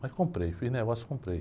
Mas comprei, fiz negócio, comprei.